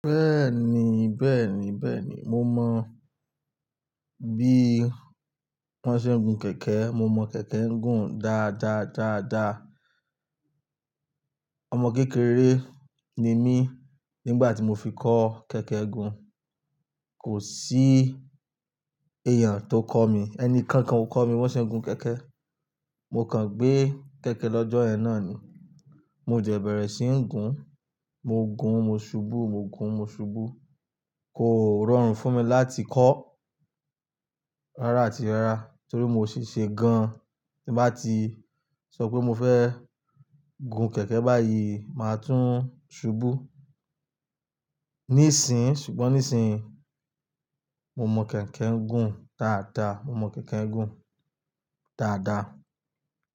Bẹ́ẹ̀ni, bẹ́ẹ̀ni, bẹ́ẹ̀ni. Mo mọ bí wón ṣe ń gun kẹ̀kẹ́. Mo mọ kẹ̀kẹ́ ń gun dáadáa, dáadáa. Ọmọ kékeré ni mí nígbà tí mo fi kọ́ kẹ̀kẹ́ gùn. Kò sí èèyàn tó kọ́ mi. Ẹni kankan ò kọ́ mi bó ṣe ń gun kẹ̀kẹ́. Mo kàn gbé kẹ̀kẹ́ lọ́jọ́ ẹna ni. Mo jẹ̀ bẹ̀rẹ̀ sí ń gun. Mo gun, mo ṣubú, mo gun, mo ṣubú. Kò rọrùn fún mi láti kọ́ rárá àti rárá torí mo ṣi ṣe gan. Bí bá ti sọ pé mo fẹ́ gun kẹ̀kẹ́ báyìí, màá tún ṣubú. Nísìń, ṣùgbọ́n nísìń mo mọ kẹ̀kẹ́ ń gun dáadáa. Mo mọ kẹ̀kẹ́ ń gun dáadáa.